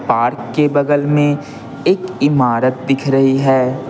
Park के बगल में एक इमारत दिख रही है।